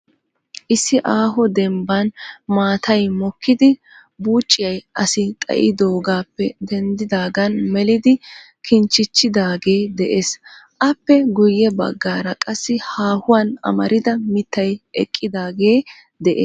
Issi aaho dembban maatay mokkidi buucciyaa asi xayyidoogappe denddaagan melidi kinchchichidaagee de'ees. Appe guyye baggaara qassi haahuwan amarida mittay eqqidaage de'ees.